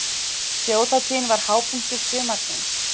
Þjóðhátíðin var hápunktur sumarsins.